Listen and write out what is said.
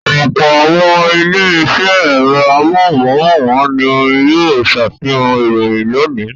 Ọ̀pọ̀ àwọn ilé-iṣẹ́ ẹ̀rọ amóhùmáwòhán ni yóò ṣàfihàn ìròyìn lónìí.